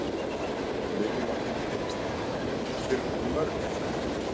Lillý Valgerður Pétursdóttir: Þið eruð nokkuð mörg er það ekki?